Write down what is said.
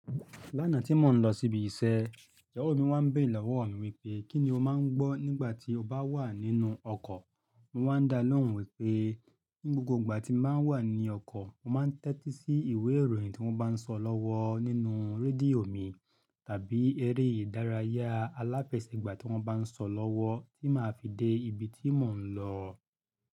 Lánàá tí mò ń lọ sí ibi iṣẹ́, ìyàwó mi wá ń béèrè lọ́wọ́ mi wípé, "kí ni o máa ń gbọ́ nígbà tí o bá wà nínú ọkọ̀?" Mo wá ń dá lóhùn wípé, ní gbogbo ìgbà tí n bá wà ní ọkọ̀, mọ máa ń tẹ́tí sí ìwé ìròyìn tí wọ́n bá ń sọ lọ́wọ́ nínú rédíò mi, tàbí eré ìdárayá alápẹ̀sigbà tí wọ́n bá ń sọ lọ́wọ́ tí màá fi dé ibi tí mò ń lọ.